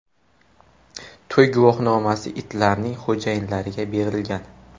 To‘y guvohnomasi itlarning xo‘jayinlariga berilgan.